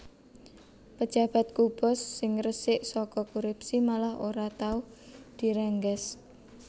Pejabat Kuba sing resik soko korupsi malah ora tau direngges